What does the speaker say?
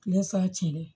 Tile salen